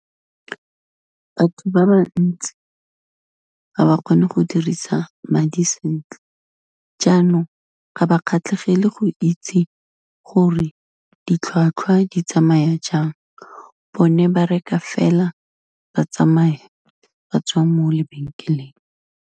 Batho ba ba ntsi ga ba kgone go dirisa madi sentle, jaanong ga ba kgatlhegele go itse gore ditlhwatlhwa di tsamaya jang, bone ba reka fela ba tsamaya, ba tswa mo lebenkeleng.